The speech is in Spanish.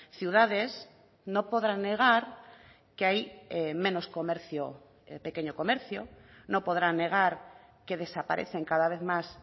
ciudades no podrán negar que hay menos comercio pequeño comercio no podrán negar que desaparecen cada vez más